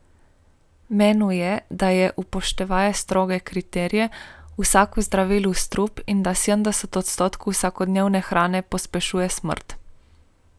Menil je, da je, upoštevaje stroge kriterije, vsako zdravilo strup in da sedemdeset odstotkov vsakodnevne hrane pospešuje smrt.